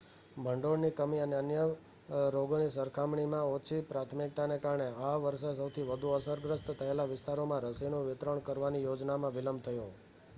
ભંડોળની કમી અને અન્ય રોગોની સરખામણીમાં ઓછી પ્રાથમિકતાને કારણે આ વર્ષે સૌથી વધુ અસરગ્રસ્ત થયેલા વિસ્તારોમાં રસીનું વિતરણ કરવાની યોજનામાં વિલંબ થયો